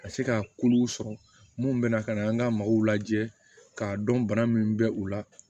Ka se ka kulu sɔrɔ munnu bɛna ka na an ka maaw lajɛ k'a dɔn bana min bɛ u la